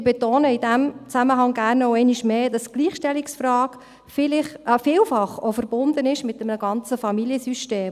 Ich betone in diesem Zusammenhang gerne einmal mehr, dass die Gleichstellungsfrage vielfach auch verbunden ist mit einem ganzen Familiensystem.